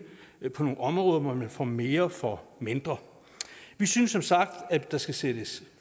på nogle områder hvor man får mere for mindre vi synes som sagt at der skal sættes